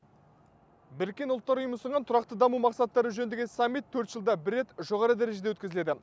біріккен ұлттар ұйымы ұсынған тұрақты даму мақсаттары жөніндегі саммит төрт жылда бір рет жоғары дәрежеде өткізіледі